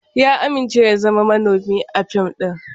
Ya amince ya zama manomi a fim ɗin.